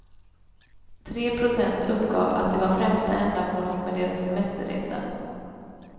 Tre procent uppgav att det var främsta ändamålet med deras semesterresa.